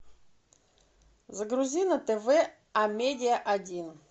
загрузи на тв амедиа один